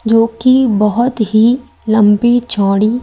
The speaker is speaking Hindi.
जोकि बहोत ही लंबी चौड़ी--